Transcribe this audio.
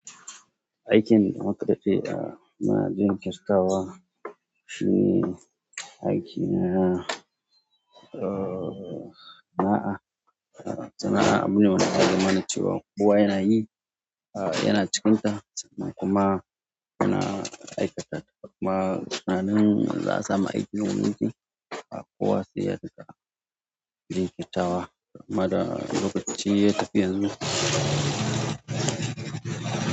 Aikin da muka je da ma ben ke sakawa, shine aiki na, ooo, na'a. Sana'a abune wanda ake tsammanin cewa kowa yana yi, yana cikinta sannan kuma yana aikata ta. Kuma sannan za'a samu aiki domin shi, a kowa sai ya daɗa jin kirtawa. Mada lokaci ya tafi yanzu.